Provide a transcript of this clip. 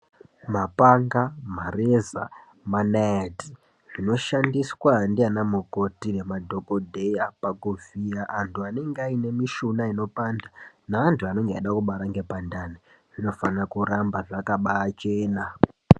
Mapanga, mareza manaiti zvinoshandiswa ndianamukoti naana dhokodheya kuvhiya antu anenge ane mushuna inopanda neantu anenge achibara ngepandani zvinofanira kuramba zvakachena.